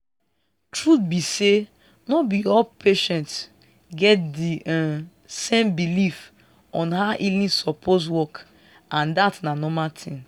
truth be say no be all patients get di um same belief on how healing suppose work and dat na normal thing